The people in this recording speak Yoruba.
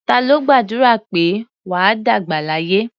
Ta ló gbàdúrà pé "wà á dàgbà láyé"?